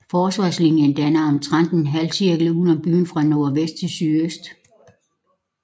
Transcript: Forsvarslinjen dannede omtrent en halvcirkel uden om byen fra nordvest til sydøst